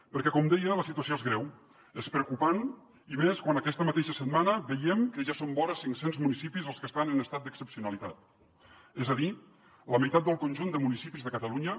perquè com deia la situació és greu és preocupant i més quan aquesta mateixa setmana veiem que ja són vora cinc cents municipis els que estan en estat d’excepcionalitat és a dir la meitat del conjunt de municipis de catalunya